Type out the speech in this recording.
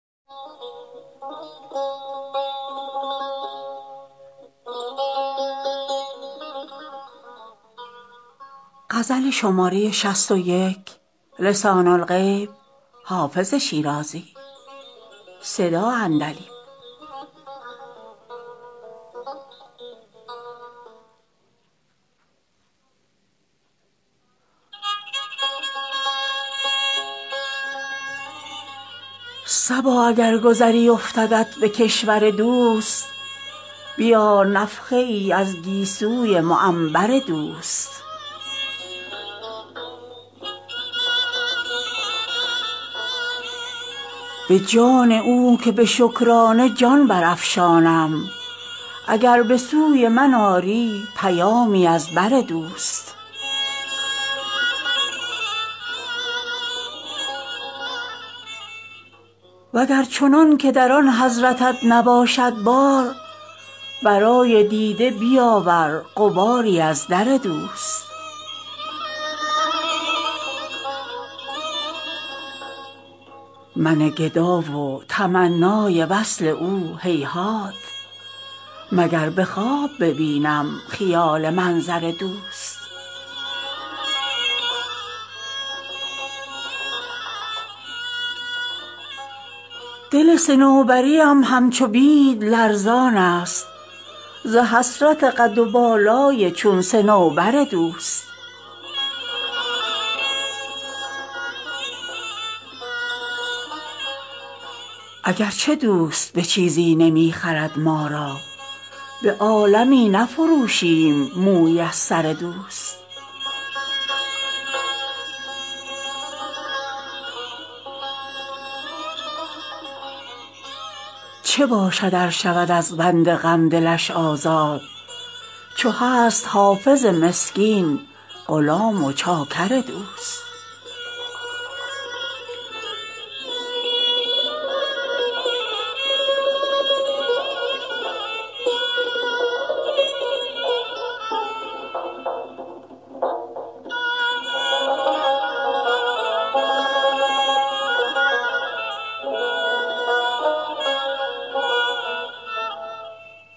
صبا اگر گذری افتدت به کشور دوست بیار نفحه ای از گیسوی معنبر دوست به جان او که به شکرانه جان برافشانم اگر به سوی من آری پیامی از بر دوست و گر چنان که در آن حضرتت نباشد بار برای دیده بیاور غباری از در دوست من گدا و تمنای وصل او هیهات مگر به خواب ببینم خیال منظر دوست دل صنوبری ام همچو بید لرزان است ز حسرت قد و بالای چون صنوبر دوست اگر چه دوست به چیزی نمی خرد ما را به عالمی نفروشیم مویی از سر دوست چه باشد ار شود از بند غم دلش آزاد چو هست حافظ مسکین غلام و چاکر دوست